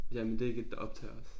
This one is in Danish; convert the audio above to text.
Jamen det ikke et der optager os